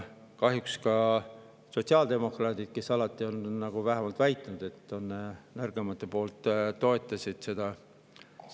Kahjuks ka sotsiaaldemokraadid, kes on alati vähemalt väitnud, et nad on nõrgemate poolt, toetasid seda.